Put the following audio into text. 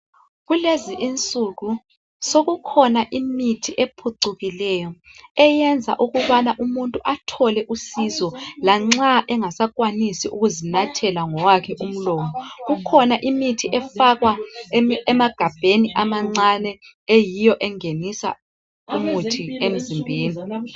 Kulezi insuku sekukhona imithi ephucukileyo eyenza ukubana umuntu athole usizo lanxa engasakwanisi ukuzinathela ngowakhe umlomo kukhona imithi efakwa emagabheni amancane eyiwo engenisa umuthi emzimbeni